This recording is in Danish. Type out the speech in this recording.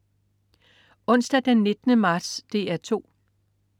Onsdag den 19. marts - DR 2: